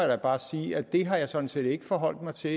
da bare sige at det har jeg sådan set ikke forholdt mig til